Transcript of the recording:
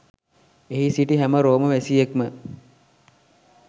එහි සිටි හැම රෝම වැසියෙක්ම